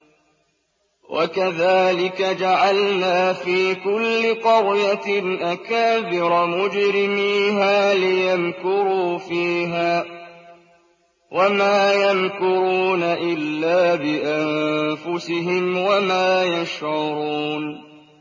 وَكَذَٰلِكَ جَعَلْنَا فِي كُلِّ قَرْيَةٍ أَكَابِرَ مُجْرِمِيهَا لِيَمْكُرُوا فِيهَا ۖ وَمَا يَمْكُرُونَ إِلَّا بِأَنفُسِهِمْ وَمَا يَشْعُرُونَ